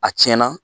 A tiɲɛna